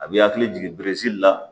A b'i hakili jigin biri la